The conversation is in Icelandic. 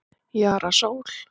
Jara Sól